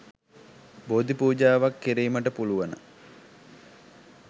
බෝධි පූජාවක් කිරීමට පුළුවන.